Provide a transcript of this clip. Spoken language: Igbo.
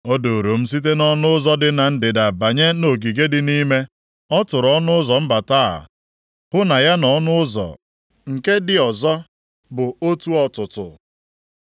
O duuru m site nʼọnụ ụzọ dị na ndịda banye nʼogige dị nʼime. Ọ tụrụ ọnụ ụzọ mbata a hụ na ya na ọnụ ụzọ nke dị ọzọ bụ otu ọtụtụ.